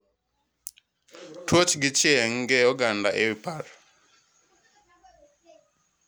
Tuocho gi chieng, kee oganda e wii par.